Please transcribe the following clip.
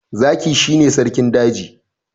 Zaki shi ne sarki daji.